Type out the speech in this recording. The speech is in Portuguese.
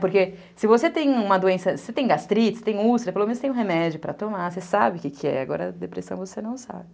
Porque se você tem uma doença, se você tem gastrite, se você tem úlcera, pelo menos tem um remédio para tomar, você sabe o que é. Agora, depressão, você não sabe.